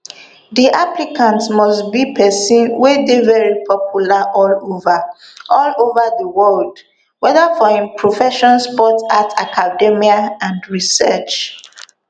di applicant must be pesin wey dey very popular all ova all ova di world weda for im profession sport arts academia and research